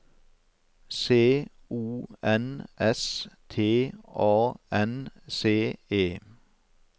C O N S T A N C E